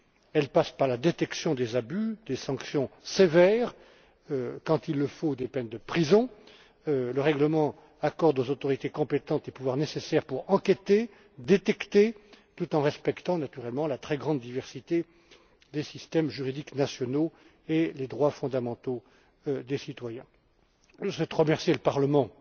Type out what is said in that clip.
Elle passe par la détection des abus, par des sanctions sévères et, quand il le faut, par des peines de prison. Le règlement accorde aux autorités compétentes les pouvoirs nécessaires pour détecter les abus et mener des enquêtes tout en respectant naturellement la très grande diversité des systèmes juridiques nationaux et les droits fondamentaux des citoyens. Je souhaite remercier le Parlement